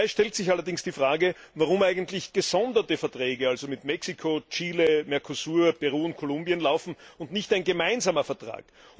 Dabei stellt sich allerdings die Frage, warum eigentlich gesonderte Verträge, also mit Mexiko, Chile, Mercosur, Peru und Kolumbien, laufen und nicht ein gemeinsamer Vertrag.